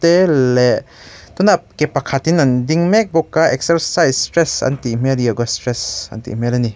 leh tunah ke pakhatin an ding mek bawk a exercise stress an tih hmel yoga stress an tih hmel a ni.